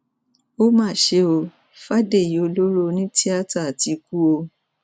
ó mà ṣe ọ fàdèyí ọlọrọ onítìátà ti kú o